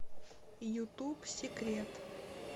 ютуб секрет